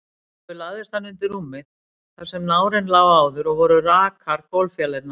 Sjálfur lagðist hann undir rúmið þar sem nárinn lá áður, og voru rakar gólffjalirnar.